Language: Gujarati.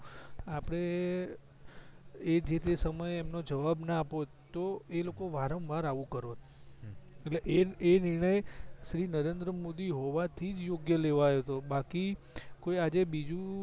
આપડે એ જેતે સમયે એમનો જવાબ ના અપોત તો એલોકો વારંવાર આવું કરોત એટલે એ નિણઁય શ્રી નરેન્દ્ર મોદી હોવાથી યોગ્ય લેવાયો તો બાકી કોઈ આજે બીજું